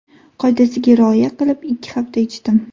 Qoidasiga rioya qilib, ikki hafta ichdim.